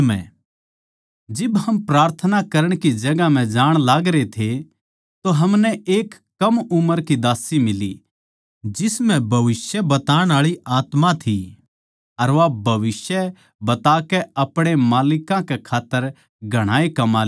जिब हम प्रार्थना करण की जगहां पै जाण लागरे थे तो हमनै एक कम उम्र की दास्सी फेट्टी जिसम्ह भविष्य बताण आळी आत्मा थी अर वा भविष्य बताकै अपणे मालिकां कै खात्तर घणाए कमा लेवै थी